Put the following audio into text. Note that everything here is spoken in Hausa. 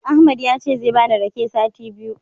Ahmad yace zai bani rake sati biyu.